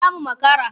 Za mu makara.